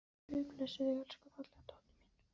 Guð blessi þig, elsku fallega dóttir mín.